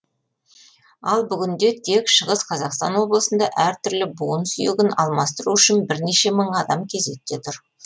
ал бүгінде тек шығыс қазақстан облысында әртүрлі буын сүйегін алмастыру үшін бірнеше мың адам кезекте тұр